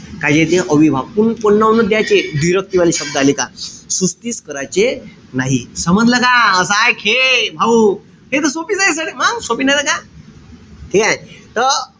काय येते? अव्ययीभाव. पून पुन्हा उलट द्याचे. व्दिरक्ती वाले शब्द आले का. सुस्तीस कराचे नाई. समजलं का? असाय खे. भाऊ. हे त सोपीच हाये. सोपी नाई त काय? ठीकेय? त,